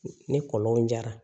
Ni kɔlɔnw jara